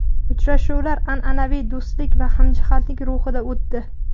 Uchrashuvlar an’anaviy do‘stlik va hamjihatlik ruhida o‘tdi.